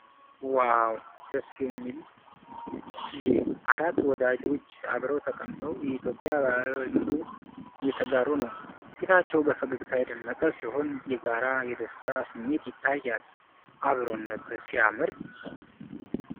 ዋው! ደስ የሚል ጊዜ! አራት ወዳጆች አብረው ተቀምጠው የኢትዮጵያን ባህላዊ ምግብ እየተጋሩ ነው። ፊታቸው በፈገግታ የደመቀ ሲሆን የጋራ የደስታ ስሜት ይታያል። አብሮነት ሲያምር!